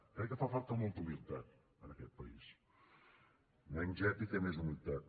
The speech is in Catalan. crec que fa falta molta humilitat en aquest país menys èpica i més humilitat